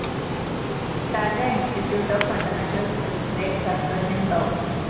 Tata institute of fundamental റിസര്‍ച്ചിലെ ശാസ്ത്രജ്ഞന്‍ ഡോ